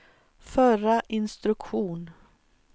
förra instruktion